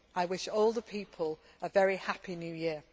I wish all the people a very happy New Year.